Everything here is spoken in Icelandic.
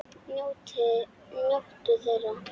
Njóttu þeirra!